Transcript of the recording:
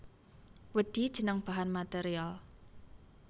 Wedhi jeneng bahan material